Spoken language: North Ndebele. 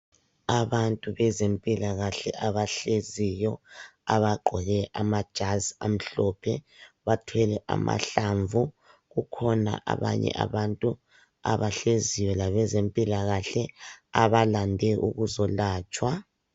Abantu bezempilakahle abahleziyo abagqoke amajazi amhlophe bathwele amahlamvu. Kukhona abanye abantu abahleziyo labezempilakahle abalande ukuzolatshwa.